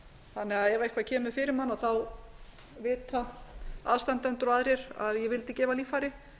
þannig að ef eitthvað kemur fyrir mann vita aðstandendur og aðrir að ég vildi gefa líffæri